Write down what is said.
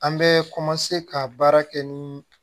An bɛ ka baara kɛ ni